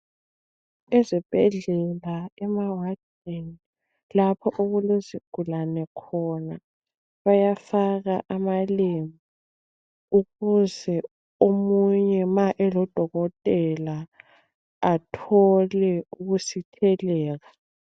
Ezibhedlela emawadini lapho okulezigulane khona bayafaka amalembu ukuze omunye ma elodokotela athole ukusitheleka.